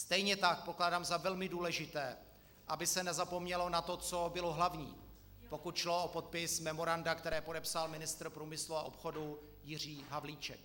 Stejně tak pokládám za velmi důležité, aby se nezapomnělo na to, co bylo hlavní, pokud šlo o podpis memoranda, které podepsal ministr průmyslu a obchodu Jiří Havlíček.